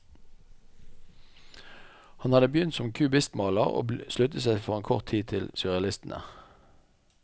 Han hadde begynt som kubistmaler, og sluttet seg for en kort tid til surrealistene.